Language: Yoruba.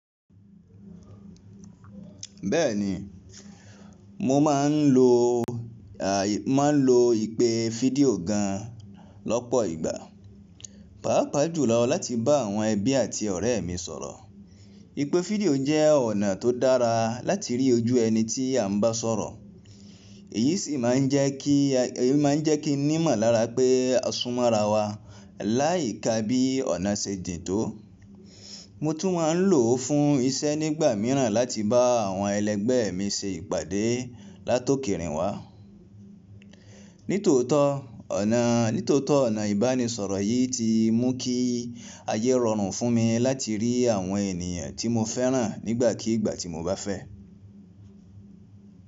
Bẹ́ẹ̀ni, mo máa ń lo ìpè fídíò gan lọ́pọ̀ ìgbà, pàápàá jùlọ láti bá àwọn ẹbí àti ọ̀rẹ́ mi sọ̀rọ̀. Ìpè fídíò jẹ́ ọ̀nà tó dára láti rí ojú ẹni tí à ń bá sọ̀rọ̀, èyí sì máa ń jẹ́ kí ni imọlara pé a súnmọ́ ara wa láyikà bí ọ̀nà ṣe jín tó. Mo tún máa ń lò ó fún iṣẹ́ nígbà míràn láti bá àwọn ẹlẹgbẹ́ mi ṣe ìpàdé látòkèèrè wa. Nítòótọ́ ọ̀nà ìbánisọ̀rọ̀ yìí ti mú kí ayé rọrùn fún mi láti rí àwọn ènìyàn tí mo fẹ́ràn nígbàkígbà tí mo bá fẹ́.